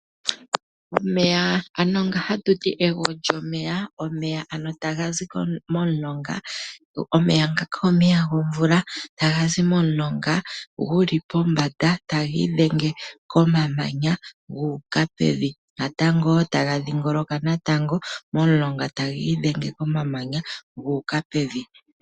Omeya ano nga hakuti egwo lyomeya .Omeya ta gazi momulonga . Omeya ngaka omeya gomvula ta gazi momulonga guli pombanda taga idhenge komamanya gu uka pevi go taga dhingoloka natango momulonga taga idhenge komamanya gu uka pevi.